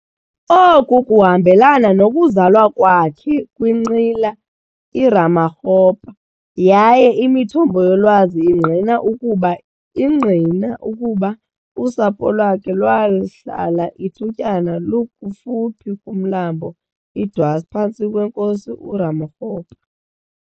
Oku kuhmabelana nokuzalwa kwakhe kwinqila iRamakgopa yaye imithombo yolwazi ingqina ukuba ingqina ukuba usapho lwakhe lwahlala ithutyana kufuphi kumlambo iDwars phantsi kweNkosi uRamokgopa.